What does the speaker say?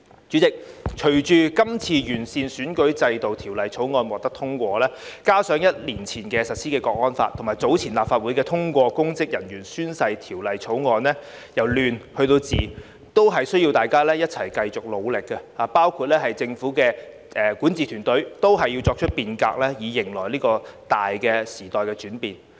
主席，隨着這次完善選舉制度的《條例草案》獲得通過，加上一年前實施的《香港國安法》，以及早前立法會已通過有關公職人員宣誓的條例草案，由亂入治，都需要大家一齊繼續努力，包括政府管治團隊，都要作出變革，以迎來這個大時代的轉變。